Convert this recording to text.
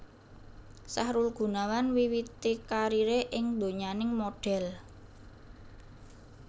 Sahrul Gunawan miwiti kariré ing donyaning modhel